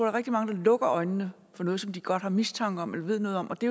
er rigtig mange der lukker øjnene for noget som de godt har mistanke om eller ved noget om og det